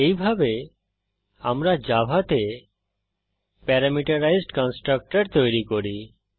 এইভাবে আমরা জাভাতে প্যারামিটারাইজড কন্সট্রকটর তৈরী করি